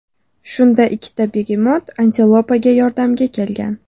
Shunda ikkita begemot antilopaga yordamga kelgan.